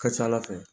Ka ca ala fɛ